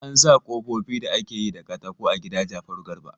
An sa kofofi da ake yi da katako a gida Jafaru Garba.